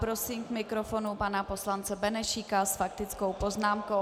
Prosím k mikrofonu pana poslance Benešíka s faktickou poznámkou.